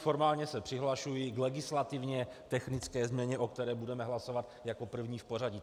Formálně se přihlašuji k legislativně technické změně, o které budeme hlasovat jako první v pořadí.